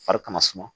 Fari kana suma